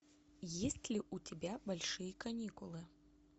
есть ли у тебя большие каникулы